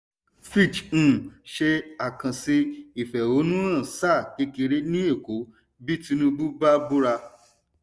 fitch um ṣe àkànṣe ìfẹ̀hónúhàn sáà kékeré ní èkó bí tinubu bá búra.